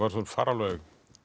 fara alveg